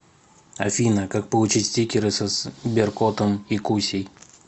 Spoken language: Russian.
афина как получить стикеры со сберкотом и кусей